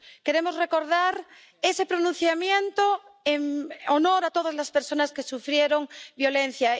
Queremos recordar ese pronunciamiento, en honor de todas las personas que sufrieron violencia.